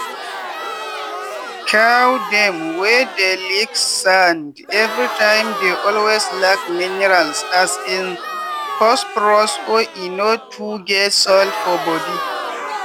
cow dem wey dey lick sand everytime dey always lack miniral as in phosphorus or e no too get salt for body.